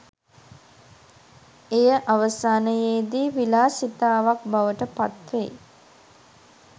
එය අවසානයේ දී විලාසිතාවක් බවට පත් වෙයි.